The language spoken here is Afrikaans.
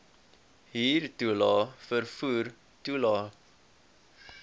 huurtoelae vervoer toelae